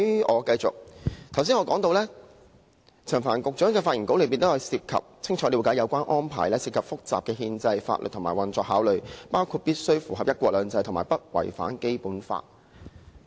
我剛才提到，在陳帆局長的發言稿中提到"清楚了解有關安排涉及複雜的憲制、法律及運作考慮，包括必須符合'一國兩制'和不違反《基本法》"。